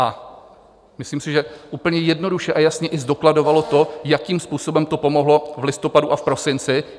A myslím si, že úplně jednoduše a jasně i zdokladovala to, jakým způsobem to pomohlo v listopadu a v prosinci.